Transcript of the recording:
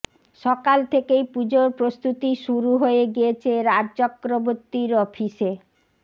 সকাল থেকেই পুজোর প্রস্তুতি শুরু হয়ে গিয়েছে রাজ চক্রবর্তীর অফিসে